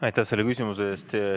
Aitäh selle küsimuse eest!